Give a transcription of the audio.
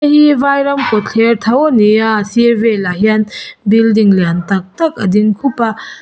hei vai ram kawtthler tho a ni a a sir vel ah hian building lian tak tak a ding khup a.